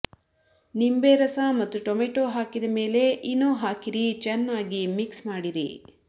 ನಿಂಬೆ ರಸ ಮತ್ತು ಟೊಮೆಟೊ ಹಾಕಿದ ಮೇಲೆ ಇನೊ ಹಾಕಿರಿ ಚೆನ್ನಾಗಿ ಮಿಕ್ಸ್ ಮಾಡಿರಿ